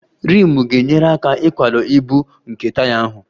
Rimu ga-enyere aka ịkwado ibu nke taya ahụ